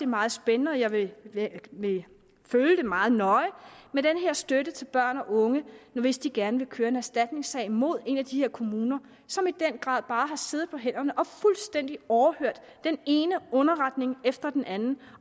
meget spændende og jeg vil vil følge det meget nøje med den her støtte til børn og unge hvis de gerne vil køre en erstatningssag mod en af de kommuner som i den grad bare har siddet på hænderne og fuldstændig overhørt den ene underretning efter den anden